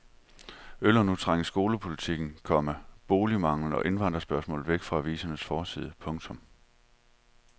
Øl har nu trængt skolepolitikken, komma boligmangelen og indvandrerspørgsmålet væk fra avisernes forsider. punktum